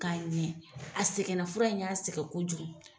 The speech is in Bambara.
K'a ɲɛn, sɛgɛnna, fura in y'a sɛgɛn kojugu.